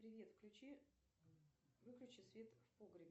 привет включи выключи свет в погребе